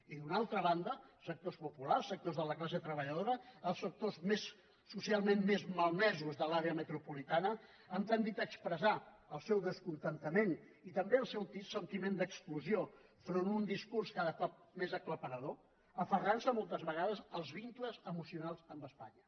i d’una altra banda sectors populars sectors de la classe treballadora els sectors socialment més malmesos de l’àrea metropolitana han tendit a expressar el seu descontentament i també el seu sentiment d’exclusió enfront d’un discurs cada vegada més aclaparador aferrantse moltes vegades als vincles emocionals amb espanya